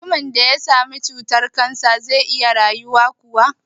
Mutumin da ya sami cutar-kansa zai iya rayuwa kuwa?